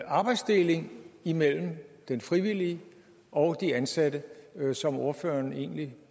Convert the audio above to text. arbejdsdeling imellem den frivillige og de ansatte som ordføreren egentlig